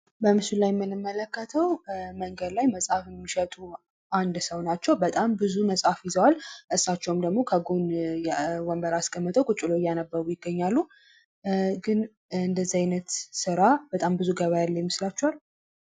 በምስሉ ላይ የምንመለከተው መንገድ ላይ መጽሐፍ የሚሸጡ አንድ ሰው ናቸው። በጣም ብዙ መጽሐፍ ይዘዋል። እሳቸውም ደግሞ ከጎን ወንበር አስከምጠው ቁጭ ብለው እያነበቡ ይገኛሉ። ግን እንደዚህ አይነት ስራ ብዙ ገቢ የሚያስገኝ ይመስላችኋል?